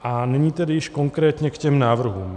A nyní tedy již konkrétně k těm návrhům.